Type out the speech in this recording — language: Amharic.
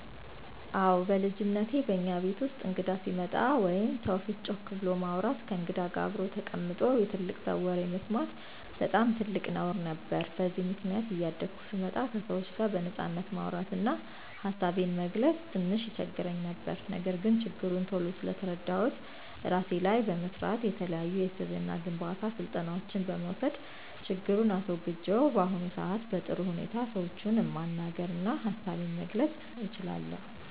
አወ በልጅነቴ በእኛ ቤት ውስጥ እንግዳ ሲመጣ ወይም ሰው ፊት ጮክ ብሎ ማውራት፣ ከእንግዳ ጋር አብሮ ተቀምጦ የትልቅ ሰው ወሬ መስማት በጣም ትልቅ ነውር ነበር። በዚህም ምክንያት እያደኩ ስመጣ ከሰዎች ጋር በነጻነት ማውራት እና ሀሳቤን መግለፅ ትንሽ ይቸግረኝ ነበር። ነገር ግን ችግሩን ቶሎ ስለተረዳሁት እራሴ ላይ በመስራት፣ የተለያዩ የስብዕና ግንባታ ስልጠናዎችን በመውሰድ ችግሩን አስወግጀው በአሁኑ ሰአት በጥሩ ሁኔታ ሰዎችን ማናገር እና ሀሳቤን መግለፅ እችላለሁ።